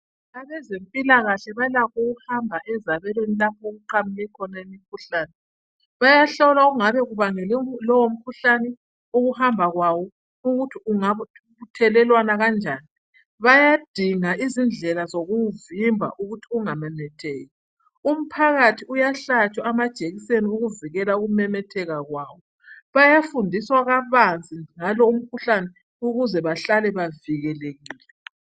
Abezempilakahle balakho ukuhamba ezabelweni lapho okuqhamuke khona imikhuhlane. Bayahlola okungabe kubangele lowo mkhuhlane, ukuhamba kwawo ukuthi ungabuthelelwana kanjani, bayadinga izindlela zokuwuvimba ukuthi ungamemetheki. Umphakathi uyahlatshwa amajekiseni ukuvikela ukumemetheka kwawo, bayafundiswa kabanzi ngalo umkhuhlane ukuze bahlale bavikelekile.